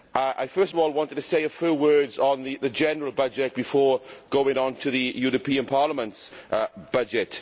I first of all want to say a few words on the general budget, before going on to the European Parliament's budget.